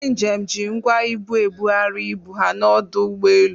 Ndị njem ji ngwa ibu ebugharị ibu ha n'ọdụ ụgbọelu.